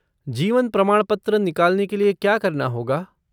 जीवन प्रमाणपत्र निकालने के लिए क्या करना होगा?